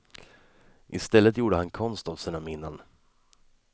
I stället gjorde han konst av sina minnen.